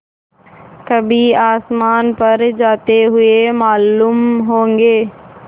कभी आसमान पर जाते हुए मालूम होंगे